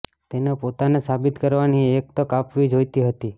તેને પોતાને સાબિત કરવાની એક તક આપવી જોઇતી હતી